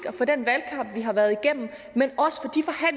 det har været igennem